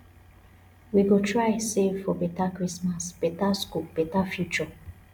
we go try save for beta christmas beta school beta future